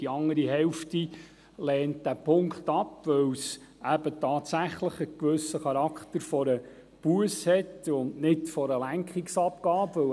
Die andere Hälfte lehnt diesen Punkt ab, weil es eben tatsächlich einen gewissen Charakter einer Busse hat und nicht einer Lenkungsabgabe.